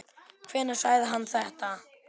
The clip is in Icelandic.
Hvenær sagði hann þetta?